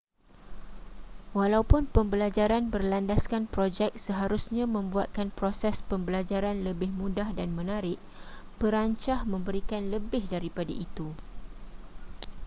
walaupun pembelajaran berlandaskan projek seharusnya membuatkan proses pembelajaran lebih mudah dan menarik perancah memberikan lebih daripada itu